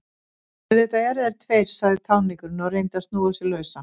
Auðvitað eru þeir tveir, sagði táningurinn og reyndi að snúa sig lausan.